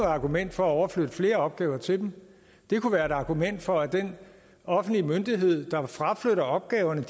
argument for at overflytte flere opgaver til dem det kunne være et argument for at den offentlige myndighed opgaverne